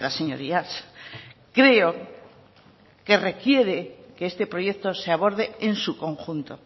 señorías creo que requiere que este proyecto se aborde en su conjunto